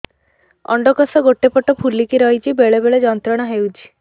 ଅଣ୍ଡକୋଷ ଗୋଟେ ପଟ ଫୁଲିକି ରହଛି ବେଳେ ବେଳେ ଯନ୍ତ୍ରଣା ହେଉଛି